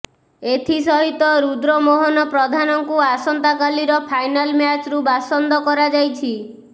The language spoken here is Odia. ଏଥି ସହିତ ରୁଦ୍ରମୋହନ ପ୍ରଧାନଙ୍କୁ ଆସନ୍ତାକାଲିର ଫାଇନାଲ୍ ମ୍ୟାଚ୍ରୁ ବାସନ୍ଦ କରାଯାଇଛି